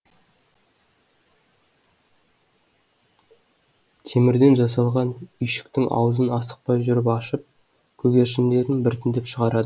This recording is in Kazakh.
темірден жасалған үйшіктің аузын асықпай жүріп ашып көгершіндерін біртіндеп шығарад